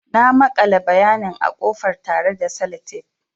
Na makale bayanin a ƙofar tare da Sellotape.